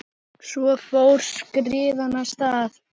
Svo fór skriðan af stað.